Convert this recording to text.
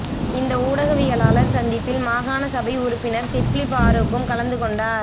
இந்த ஊடகவியலாளர் சந்திப்பில் மாகாண சபை உறப்பினர் சிப்லி பாறூக்கும் கலந்து கொண்டார்